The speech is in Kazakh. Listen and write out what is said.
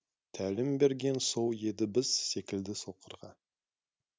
тәлім берген сол еді біз секілді соқырға